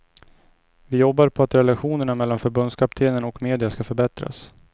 Vi jobbar på att relationerna mellan förbundskaptenen och media ska förbättras.